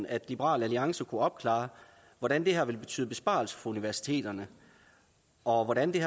at liberal alliance kunne opklare hvordan det her forslag ville betyde besparelser for universiteterne og hvordan det